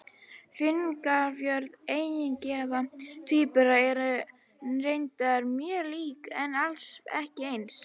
Fingraför eineggja tvíbura eru reyndar mjög lík, en alls ekki eins.